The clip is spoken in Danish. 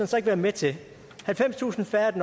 så ikke være med til halvfemstusind færre i